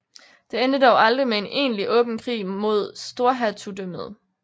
Det endte dog aldrig med en egentlig åben krig mod Storhertugdømmet